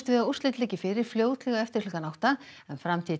við að úrslit liggi fyrir fljótlega eftir klukkan átta en framtíð